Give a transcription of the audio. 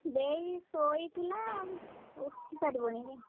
ଦେଇ ଶୋଇଥିଲା ଉଁ ଉଠିସାରିବଣି ଅଇଖା।